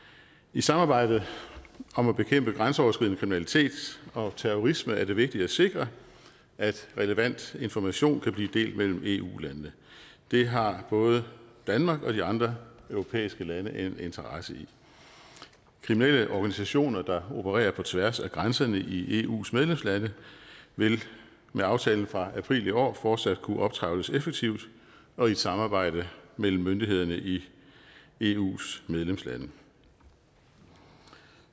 i samarbejdet om at bekæmpe grænseoverskridende kriminalitet og terrorisme er det vigtigt at sikre at relevant information kan blive delt mellem eu landene det har både danmark og de andre europæiske lande en interesse i kriminelle organisationer der opererer på tværs af grænserne i eus medlemslande vil med aftalen fra april i år fortsat kunne optrævles effektivt og i et samarbejde mellem myndighederne i eus medlemslande